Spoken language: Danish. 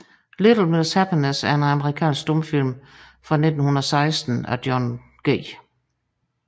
Little Miss Happiness er en amerikansk stumfilm fra 1916 af John G